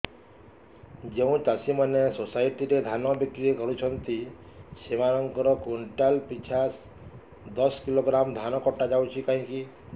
ଯେଉଁ ଚାଷୀ ମାନେ ସୋସାଇଟି ରେ ଧାନ ବିକ୍ରି କରୁଛନ୍ତି ସେମାନଙ୍କର କୁଇଣ୍ଟାଲ ପିଛା ଦଶ କିଲୋଗ୍ରାମ ଧାନ କଟା ଯାଉଛି କାହିଁକି